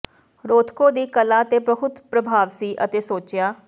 Rothko ਦੀ ਕਲਾ ਤੇ ਬਹੁਤ ਪ੍ਰਭਾਵ ਸੀ ਅਤੇ ਸੋਚਿਆ